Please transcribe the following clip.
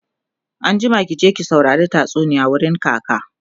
anjima ki je ki saurari tatsuniya wurin kaka!